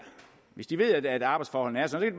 hvis de ved at arbejdsforholdene er sådan